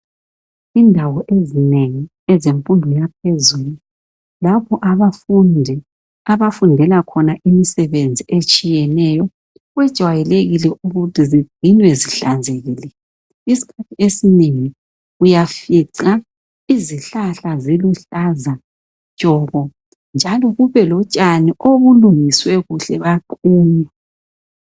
Indawo ezinengi ezemfundo yaphezulu, lapho abafundi, abafundelakhona imisebenzi etshiyeneyo. Kwejwayelekile ukuthi zigcinwe zihlanzekile. Isikhathi esinengi uyafica izihlahla ziluhlaza tshoko, njalo kube lotshani obulungiswe kuhle baqunywa.